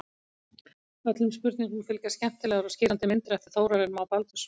Öllum spurningum fylgja skemmtilegar og skýrandi myndir eftir Þórarinn Má Baldursson.